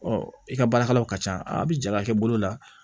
i ka baarakɛlaw ka ca a bi ja i bolo la